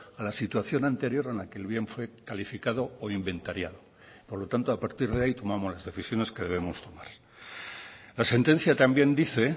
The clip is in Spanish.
a la situación anterior en la que el bien fue calificado o inventariado por lo tanto a partir de ahí tomamos las decisiones que debemos tomar la sentencia también dice